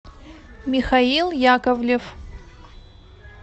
михаил яковлев